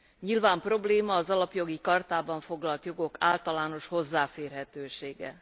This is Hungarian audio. Nyilván probléma az Alapjogi Chartában foglalt jogok általános hozzáférhetősége.